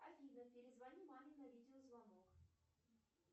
афина перезвони маме на видеозвонок